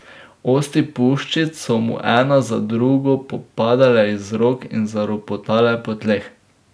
Osti puščic so mu ena za drugo popadale iz rok in zaropotale po tleh.